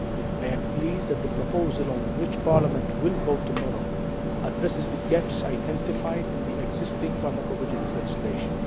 I am pleased that the proposal on which Parliament will vote tomorrow addresses the gaps identified in the existing pharmacovigilance legislation.